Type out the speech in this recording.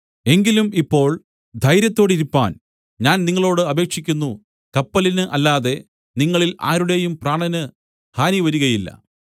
എങ്കിലും ഇപ്പോൾ ധൈര്യത്തോടിരിപ്പാൻ ഞാൻ നിങ്ങളോട് അപേക്ഷിക്കുന്നു കപ്പലിന് അല്ലാതെ നിങ്ങളിൽ ആരുടെയും പ്രാണന് ഹാനി വരികയില്ല